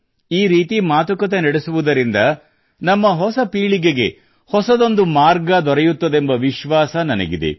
ಈ ರೀತಿ ಮಾತುಕತೆ ನಡೆಸುವುದರಿಂದ ನಮ್ಮ ಹೊಸ ಪೀಳಿಗೆಗೆ ಹೊಸದೊಂದು ಮಾರ್ಗ ದೊರೆಯುತ್ತದೆಂಬ ವಿಶ್ವಾಸ ನನಗಿದೆ